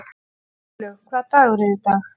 Guðlaug, hvaða dagur er í dag?